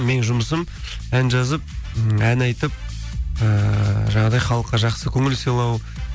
менің жұмысым ән жазып м ән айтып ііі жаңағыдай халыққа жақсы көңіл сыйлау